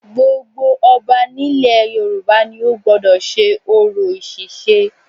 Gbogbo ọba nílẹ̀ Yorùbá ni ó gbọ́dọ̀ sé orò ìsèse